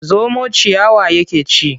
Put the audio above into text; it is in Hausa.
Zomo ciyawa yake ci.